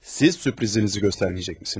Siz sürprizinizi göstərməyəcəksiniz?